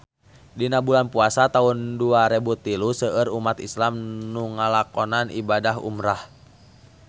Dina bulan Puasa taun dua rebu tilu seueur umat islam nu ngalakonan ibadah umrah